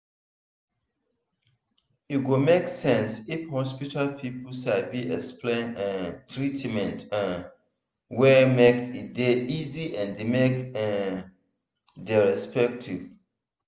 e go make sense if hospital people sabi explain um treatment um well make e dey easy and make e um dey respectful.